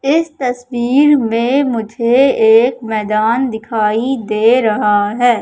इस तस्वीर में मुझे एक मैदान दिखाई दे रहा है।